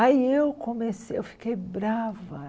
Aí eu comecei, eu fiquei brava.